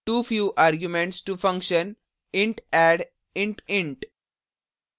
too few arguments to function int add int int